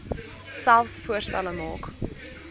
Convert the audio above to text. selfs voorstelle maak